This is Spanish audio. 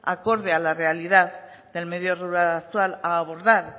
acorde a la realidad del medio rural actual a abordar